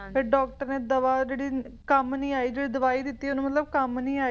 ਫਿਰ doctor ਨੇ ਦਵਾ ਜਿਹੜੀ ਕੰਮ ਨਹੀਂ ਆਈ ਜਿਹੜੀ ਦਵਾਈ ਦਿੱਤੀ ਓਹਨੂੰ ਮਤਲਬ ਕੰਮ ਨਹੀਂ ਆਈ